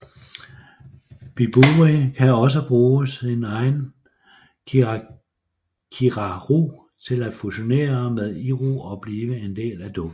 Bibury kan også bruge sin egen kirakiraru til at fusionere med Iru og blive en del af dukken